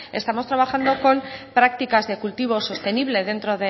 estamos trabajando con prácticas de cultivo sostenible dentro